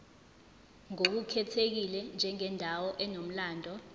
ngokukhethekile njengendawo enomlando